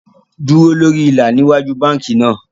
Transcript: Dúró lórí ilà ní ìwájú bánkì náà